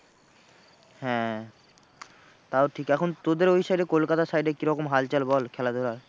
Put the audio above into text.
হ্যাঁ তাও ঠিক এখন তোদের side এ কলকাতার side এ কিরকম হালচাল বল খেলাধুলার?